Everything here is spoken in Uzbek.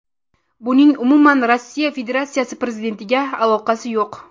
Buning umuman Rossiya Federatsiyasi prezidentiga aloqasi yo‘q.